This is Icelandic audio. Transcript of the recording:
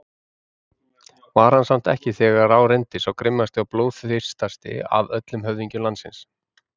Var hann samt ekki þegar á reyndi sá grimmasti og blóðþyrstasti af öllum höfðingjum landsins?